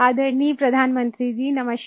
आदरणीय प्रधानमंत्री जी नमस्कार